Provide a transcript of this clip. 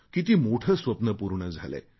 किती मोठे स्वप्ने पूर्ण झालेय